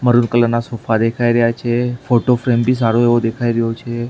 Maroon colour ના sofa દેખાય રહ્યા છે ફોટો ફ્રેમ બી સારો એવો દેખાય રહ્યો છે.